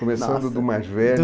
Começando do mais velho.